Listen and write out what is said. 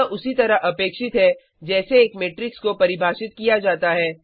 यह उसी तरह अपेक्षित है जैसे एक मेट्रिक्स को परिभाषित किया जाता है